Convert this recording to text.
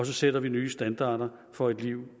sætter nye standarder for et liv